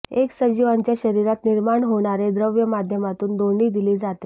एक सजीवांच्या शरीरात निर्मार्ण होणारे द्रव्य माध्यमातून दोन्ही दिली जाते